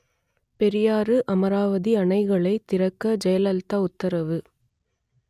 பெரியாறு–அமராவதி அணைகளைத் திறக்க ஜெயலலிதா உத்தரவு